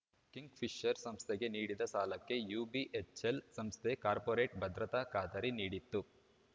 ಕಿಂಗ್‌ಫಿಷರ್‌ ಸಂಸ್ಥೆಗೆ ನೀಡಿದ್ದ ಸಾಲಕ್ಕೆ ಯುಬಿಎಚ್‌ಎಲ್‌ ಸಂಸ್ಥೆ ಕಾರ್ಪೊರೇಟ್‌ ಭದ್ರತಾ ಖಾತರಿ ನೀಡಿತ್ತು